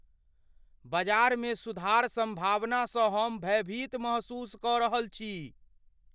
बजार मे सुधार सम्भावना स हम भयभीत महसूस क रहल छी